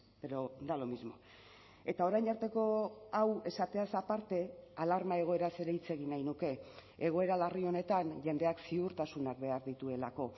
pero da lo mismo eta orain arteko hau esateaz aparte alarma egoeraz ere hitz egin nahi nuke egoera larri honetan jendeak ziurtasunak behar dituelako